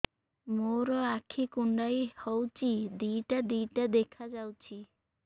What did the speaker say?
ମୋର ଆଖି କୁଣ୍ଡାଇ ହଉଛି ଦିଇଟା ଦିଇଟା ଦେଖା ଯାଉଛି